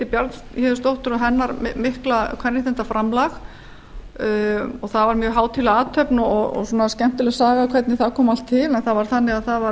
bjarnhéðinsdóttur og hennar mikla kvenréttindaframlag það var mjög hátíðleg athöfn og skemmtileg saga hvernig það kom allt til það var þannig að það var